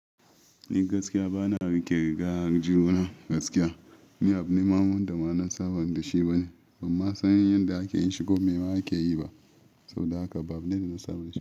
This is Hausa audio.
Ni gaskiya bana rike riga aljihuna gaskiya. Ni abu ne mamu da ma na sabon da shi bane. Ban ma san yanda ake yi shi ko me ake yi ba. Saboda haka ba na da na saba da shi.